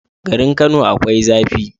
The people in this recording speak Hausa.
Garin kano akwai zafi